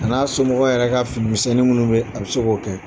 A n'a somɔgɔw yɛrɛ ka finimisɛnnin minnu bɛ a bɛ se k'o kala